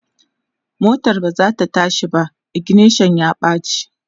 motan bazata tashi ba, ignition ya ɓace